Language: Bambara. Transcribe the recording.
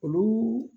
Olu